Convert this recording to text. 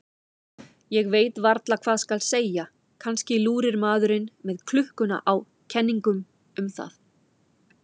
Ég veit varla hvað skal segja, kannski lúrir maðurinn með klukkuna á kenningum um það.